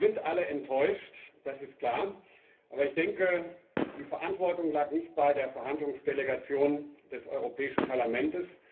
Wir sind alle enttäuscht, das ist klar, aber ich denke, die Verantwortung lag nicht bei der Verhandlungsdelegation des Europäischen Parlaments.